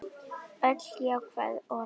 Öll jákvæð orð.